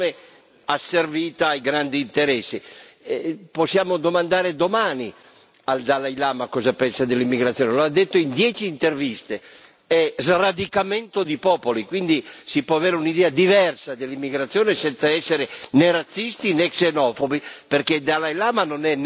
Possiamo domandare domani al Dalai Lama cosa pensa dell'immigrazione, lo ha detto in dieci interviste è sradicamento di popoli, quindi si può avere un'idea diversa dell'immigrazione senza essere né razzisti né xenofobi, perché il Dalai Lama non è né razzista né xenofobo, né è